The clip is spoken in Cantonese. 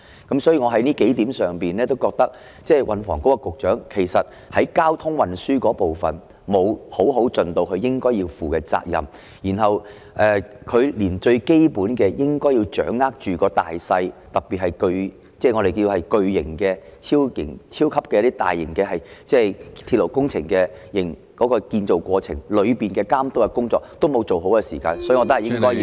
因此，從以上數點，我認為運房局局長在交通運輸的部分沒有好好履行他應有的責任，連最基本應該掌握大勢，特別是巨型、超級、大型鐵路建造過程的監督工作，也沒有做好，所以我認為應該削減他的薪酬。